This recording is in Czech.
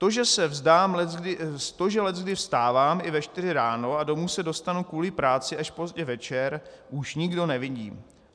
To, že leckdy vstávám i ve čtyři ráno a domů se dostanu kvůli práci až pozdě večer, už nikdo nevidí.